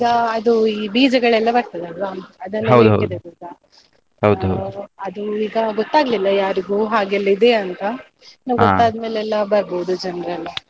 ಈಗ ಅದು ಈ ಬೀಜಗಳೆಲ್ಲ ಬರ್ತದಲ್ವ ಅದು ಈಗ ಗೊತ್ತಾಗ್ಲಿಲ್ಲ ಯಾರಿಗೂ ಹಾಗೆ ಎಲ್ಲಾ ಇದೆ ಅಂತ ಇನ್ನು ಗೊತ್ತಾದ್ಮೇಲೆ ಎಲ್ಲ ಬರ್ಬೋದು ಜನ್ರೆಲ್ಲ.